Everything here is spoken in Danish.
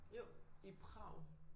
Jo. I Prag